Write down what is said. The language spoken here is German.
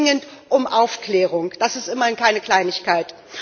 Ich bitte dringend um Aufklärung. Das ist immerhin keine Kleinigkeit!